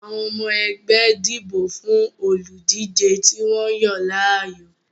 Àwọn ọmọ ẹgbẹ́ dìbò fún olùdíje tí wọ́n yàn láàyò